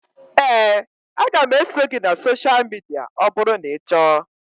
Éè, a ga m eso gị na sosha midia ọ bụrụ na ị chọọ